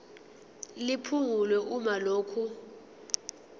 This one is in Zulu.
liphungulwe uma lokhu